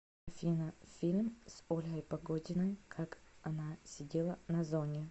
афина фильм с ольгой погодиной как она сидела на зоне